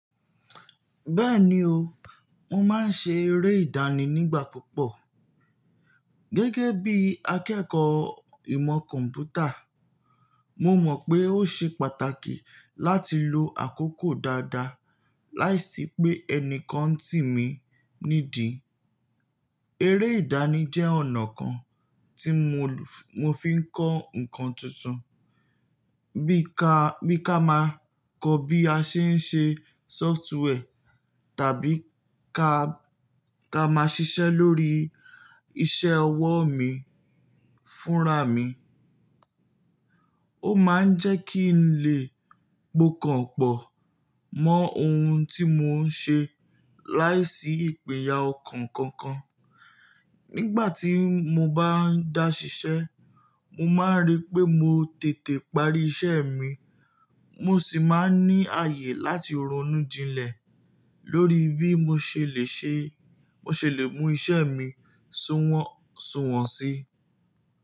Bẹ́ẹ̀ni o, mo máa ń ṣe eré ìdánì nígbà púpọ̀. Gẹ́gẹ́ bí akẹ́kọ̀ọ́ ìmọ̀ kọ̀ḿpútà, mo mọ̀ pé ó ṣe pàtàkì láti lo àkókò dáadáa láìsí pé ẹnìkan ń tì mí nídi. Eré ìdánì jẹ́ ọ̀nà kan tí mo fi ń kọ́ ǹkan tuntun bí ka bi ka máa kọ́ bí a ṣe ń ṣe sóftware tàbí ká máa ṣiṣẹ́ lórí iṣẹ́ ọwọ́ mi fúnra mi. Ó máa ń jẹ́ kí n lè po kànpọ̀ mọ́ ohun tí mo ń ṣe láìsí ìpinya ọkàn kankan. Nígbà tí mo bá ń dá ṣiṣẹ́, mo máa rí pé mo tètè parí iṣẹ́ mi mo sì máa ń ní ààyè láti ronú jinlẹ̀ lórí bí mo ṣe lè mú iṣẹ́ mi sùwọ́n sí.